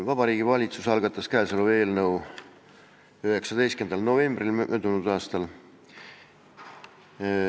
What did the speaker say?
Vabariigi Valitsus algatas eelnõu 19. novembril möödunud aastal.